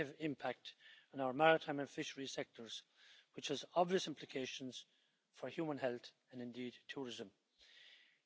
nur sechs Prozent werden wiederverwertet. Das ist viel zu wenig! Wir müssen darum überlegen, was wir tun können, um das zu verbessern.